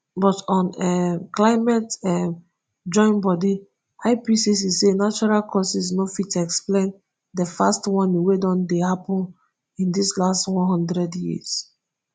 but un um climate um joinbodi ipcc say natural causes no fit explain dis fast warming wey don dey happun in di last one hundred years.